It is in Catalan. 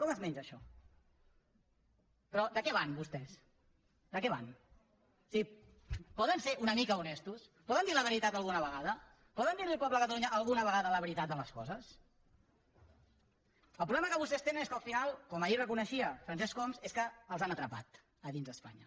com es menja això però de què van vostès de què van o sigui poden ser una mica honestos poden dir la veritat alguna vegada poden dir li al poble de catalunya alguna vegada la veritat de les coses el problema que vostès tenen és que al final com ahir reconeixia francesc homs els han atrapat a dins d’espanya